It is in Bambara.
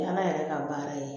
O ye ala yɛrɛ ka baara ye